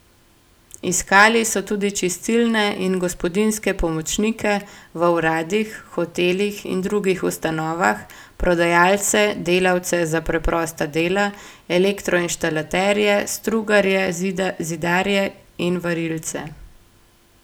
Iskali so tudi čistilne in gospodinjske pomočnike v uradih, hotelih in drugih ustanovah, prodajalce, delavce za preprosta dela, elektroinštalaterje, strugarje, zidarje in varilce.